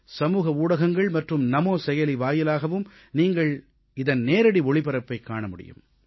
சமூக ஊடகங்கள் மற்றும் நமோ செயலி வாயிலாகவும் நீங்கள் இதன் நேரடி ஒளிபரப்பைக் காண முடியும்